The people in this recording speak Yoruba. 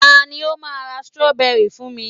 ta ni o ma ra strawberry fún mi